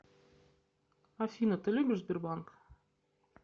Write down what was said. афина ты любишь сбербанк